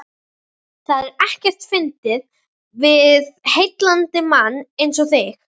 Það er ekkert fyndið við heillandi mann einsog þig.